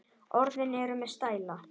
Orðin eru með stæla.